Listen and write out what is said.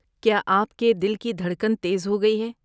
کیا آپ کے دل کی دھڑکن تیز ہو گئی ہے؟